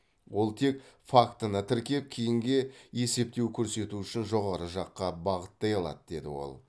ол тек фактіні тіркеп кейінге есепте көрсету үшін жоғары жаққа бағыттай алады деді ол